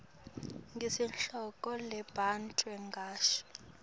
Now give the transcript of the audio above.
ngesihloko labutwe ngaso